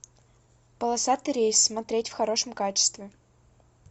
полосатый рейс смотреть в хорошем качестве